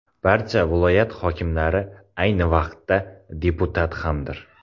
Barcha viloyat hokimlari ayni vaqtda deputat hamdir.